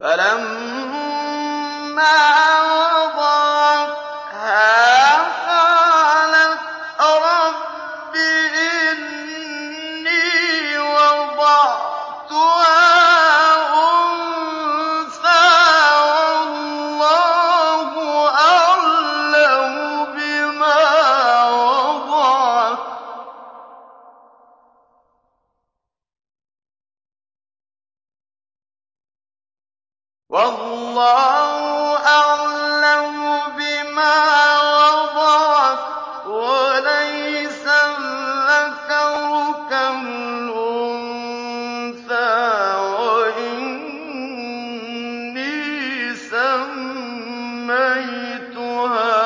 فَلَمَّا وَضَعَتْهَا قَالَتْ رَبِّ إِنِّي وَضَعْتُهَا أُنثَىٰ وَاللَّهُ أَعْلَمُ بِمَا وَضَعَتْ وَلَيْسَ الذَّكَرُ كَالْأُنثَىٰ ۖ وَإِنِّي سَمَّيْتُهَا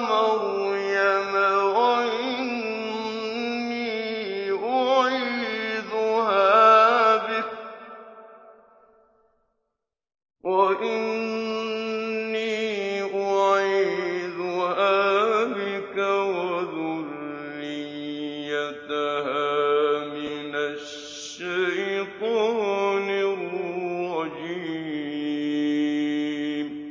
مَرْيَمَ وَإِنِّي أُعِيذُهَا بِكَ وَذُرِّيَّتَهَا مِنَ الشَّيْطَانِ الرَّجِيمِ